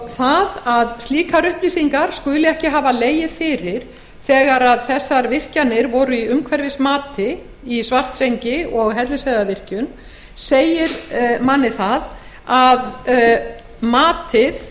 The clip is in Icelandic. það að slíkar upplýsingar skuli ekki hafa legið fyrir þegar þessar virkjanir í svartsengi og hellisheiðarvirkjun voru í umhverfismati segir manni að matið